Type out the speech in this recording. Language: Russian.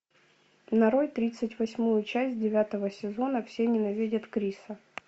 нарой тридцать восьмую часть девятого сезона все ненавидят криса